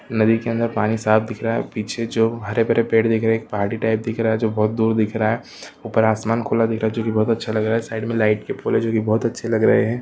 नदी के अंदर पानी साफ दिख रहा है पीछे जो हरे भरे पेड़ दिख रहे है एक पहाड़ी टाइप दिख रहा है जो बहुत दूर दिख रहा है ऊपर आसमान खुला दिख रहा है जो की बहुत अच्छा लग रहा है साइड में लाइट के फूल जो की बहुत अच्छे लग रहे है।